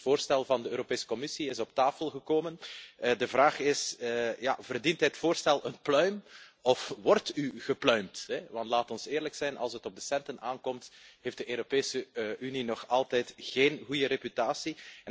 Het voorstel van de Europese Commissie is op tafel gekomen en de vraag is verdient het voorstel een pluim of wordt u gepluimd? Want laat ons eerlijk zijn, als het op de centen aankomt, heeft de Europese Unie nog altijd geen goede reputatie.